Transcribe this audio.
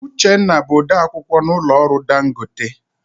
Uchenna bụ ode akwukwọ n'ụlọ ọrụ Dangote.